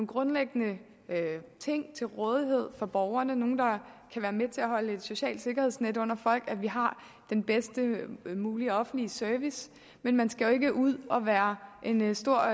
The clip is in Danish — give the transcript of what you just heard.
grundlæggende ting til rådighed for borgerne er nogle der kan være med til at holde et socialt sikkerhedsnet under folk og at vi har den bedst mulige offentlige service men man skal jo ikke ud og være en stor